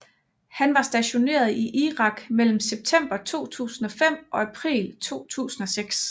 Han var stationeret i Irak mellem september 2005 og april 2006